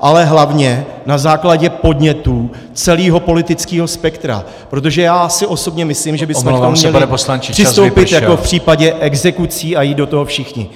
ale hlavně na základě podnětů celého politického spektra, protože já osobně si myslím, že bychom k tomu měli přistoupit jako v případě exekucí a jít do toho všichni.